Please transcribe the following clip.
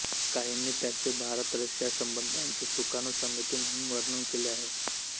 काहींनी त्याचे भारतरशिया संबंधांची सुकाणू समिती म्हणून वर्णन केले आहे